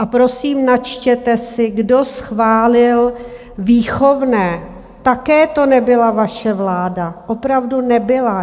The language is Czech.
A prosím, načtěte si, kdo schválil výchovné, také to nebyla vaše vláda, opravdu nebyla.